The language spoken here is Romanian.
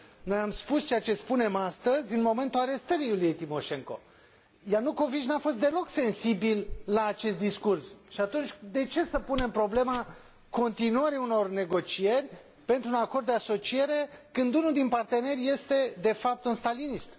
Noi am spus ceea ce spunem astăzi în momentul arestării Iuliei Timoșenko. Ianukovici nu a fost deloc sensibil la acest discurs, și atunci de ce să punem problema continuării unor negocieri pentru un acord de asociere, când unul din parteneri este, de fapt, un stalinist?